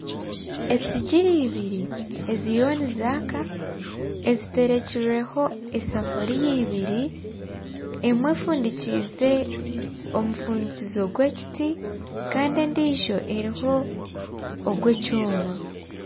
Esigiri ibiri eziriyo nizaaka eziterekirweho esefuriya ibiri emwe efundikize omufundikizo gwekiti Kandi endiijo eriho ogw'ekyoma